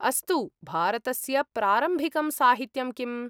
अस्तु, भारतस्य प्रारम्भिकं साहित्यं किम्?